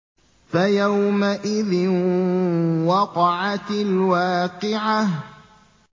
فَيَوْمَئِذٍ وَقَعَتِ الْوَاقِعَةُ